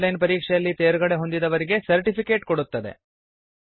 on line ಪರೀಕ್ಷೆಯಲ್ಲಿ ತೇರ್ಗಡೆಹೊಂದಿದವರಿಗೆ certificate ಕೊಡುತ್ತದೆ